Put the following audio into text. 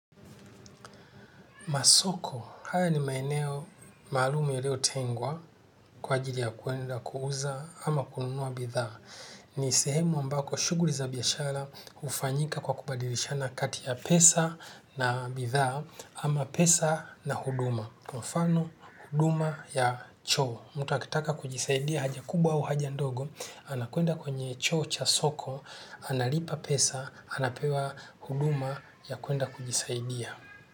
Masoko, haya ni maeneo maalumu yaliyo tengwa kwa ajili ya kwenda, kuuza ama kununua bidhaa. Ni sehemu ambako shughuli za biashara hufanyika kwa kubadilishana kati ya pesa na bidhaa ama pesa na huduma. Kwa mfano huduma ya choo, mtu akitaka kujisaidia haja kubwa au haja ndogo, anakwenda kwenye choo cha soko, analipa pesa, anapewa huduma ya kwenda kujisaidia.